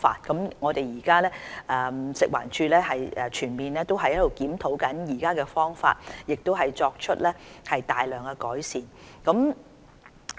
食物環境衞生署正全面檢討現有的方法，亦作出大量改善。